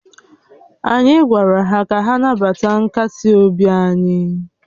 Anyị gwara ha ka ha nabata nkasi obi anyị